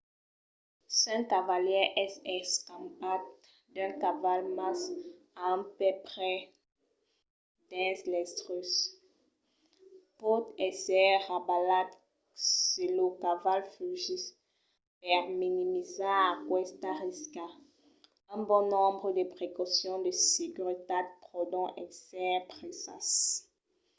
s'un cavalièr es escampat d'un caval mas a un pè pres dins l'estriu pòt èsser rabalat se lo caval fugís. per minimizar aquesta risca un bon nombre de precaucions de seguretat pòdon èsser presas